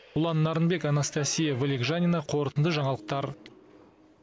ұлан нарынбек анастасия вылегжанина қорытынды жаңалықтар